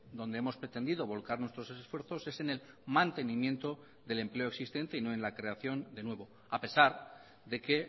donde hemos pretendido volcar nuestros esfuerzos es en el mantenimiento del empleo existente y no en la creación de nuevo a pesar de que